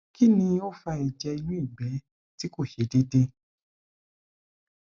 kini o fa ẹjẹ inu igbẹ ti ko se deede